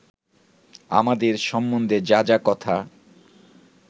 আমাদের সম্বন্ধে যা যা কথা